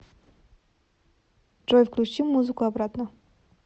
джой включи музыку обратно